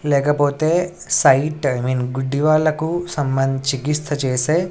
లేకపోతే sight I mean గుడ్డి వాళ్లకు సంబంధించి చికిత్స చేసే.